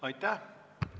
Aitäh!